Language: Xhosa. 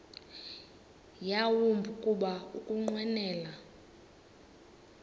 yawumbi kuba ukunqwenela